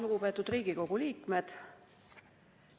Lugupeetud Riigikogu liikmed!